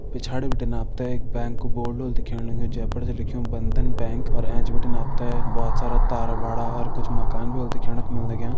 पिछाड़ी बटिन आप तें एक बैंक को बोर्ड ह्वल दिख्येण लग्युं जे पर छ लेख्यु बंधन बैंक अर ऐच बटिन आप तें भोत सारा तार बाडा और कुछ माकन भी ह्वल दिख्येण कु मिल लग्यां।